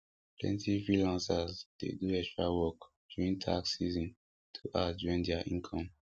plenty freelancers dey do extra work during tax season to add join their income